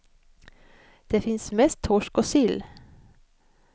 Det finns mest torsk och sill.